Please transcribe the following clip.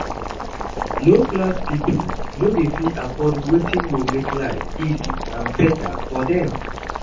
Low class pipo no de fit afford wetin go make life easy and better for dem